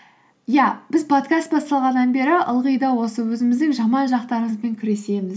иә біз подкаст басталғаннан бері ылғи да осы өзіміздің жаман жақтарымызбен күресеміз